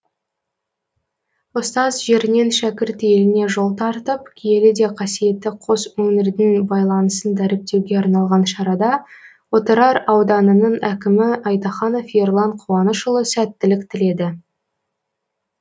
ұстаз жерінен шәкірт еліне жол тартып киелі де қасиетті қос өңірдің байланысын дәріптеуге арналған шарада отырар ауданының әкімі айтаханов ерлан қуанышұлы сәттілік тіледі